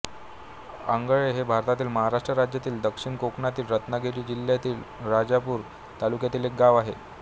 आंगळे हे भारतातील महाराष्ट्र राज्यातील दक्षिण कोकणातील रत्नागिरी जिल्ह्यातील राजापूर तालुक्यातील एक गाव आहे